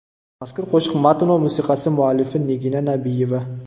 Mazkur qo‘shiq matn va musiqasi muallifi Nigina Nabiyeva.